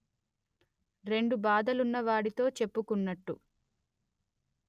రెండు బాధలున్న వాడితొ చెప్పుకున్నట్టు